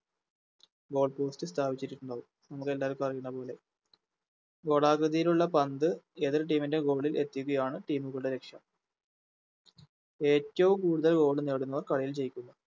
Goal post ൽ സ്ഥാപിച്ചിരിക്കുന്നത് നിങ്ങക്കെല്ലാവർക്കും അറിയുന്നപോലെ ഗോളാകൃതിയിലുള്ള പന്ത് എതിർ Team ൻറെ Goal ൽ എത്തിക്കുകയാണ് എതിർ Team കളുടെ ലക്ഷ്യം ഏറ്റോം കൂടുതൽ Goal നേടുന്നവർ കളിയിൽ ജയിക്കുന്നു